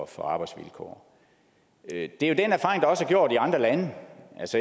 for arbejdsvilkår det er jo den erfaring der også er gjort i andre lande